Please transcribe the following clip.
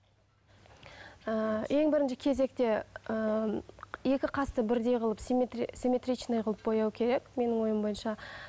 ыыы ең бірінші кезекте ыыы екі қасты бірдей қылып симметричный қылып бояу керек менің ойым бойынша